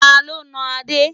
Ta ló nà Adé?